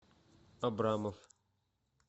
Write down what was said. абрамов